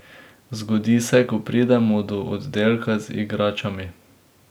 Zgodi se, ko pridemo do oddelka z igračami.